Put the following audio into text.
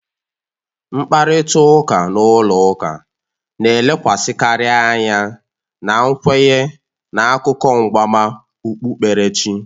Mkparịta ụka n'ụlọ ụka na-elekwasịkarị anya na nkwenye na akụkọ mgbama okpukperechi